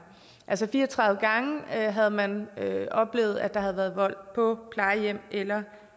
altså fire og tredive gange havde man oplevet at der havde været vold på plejehjem eller